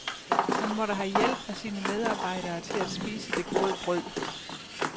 Han måtte have hjælp af sine medarbejdere til at spise det gode brød.